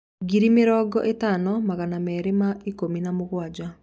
ngiri mĩrongo ĩtano magana merĩ ma ikumi na mũgwanja